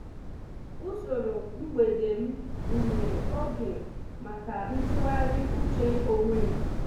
Usoro mgbede m gunyere oge maka ntụgharị uche onwe m.